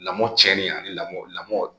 Lamɔ cɛnni ani lamɔ lamɔ